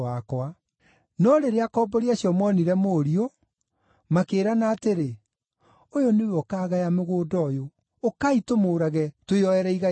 “No rĩrĩa akombori acio moonire mũriũ, makĩĩrana atĩrĩ, ‘Ũyũ nĩwe ũkaagaya mũgũnda ũyũ. Ũkai tũmũũrage, twĩyoere igai rĩake.’